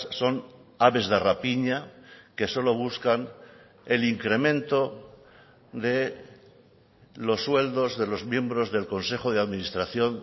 son aves de rapiña que solo buscan el incremento de los sueldos de los miembros del consejo de administración